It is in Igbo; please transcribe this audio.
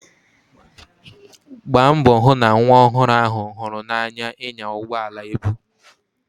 Gbaa mbọ hụ na nwa ọhụrụ ahụ hụrụ n'anya ịnya ụgbọ ala ebu.